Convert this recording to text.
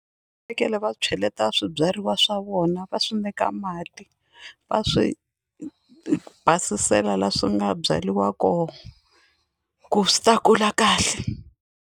Fanekele va cheleta swibyariwa swa vona va swi nyika mati va swi basisela laha swi nga byariwa kona ku swi ta kula kahle.